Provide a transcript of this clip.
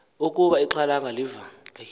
ukuba ixhalanga liva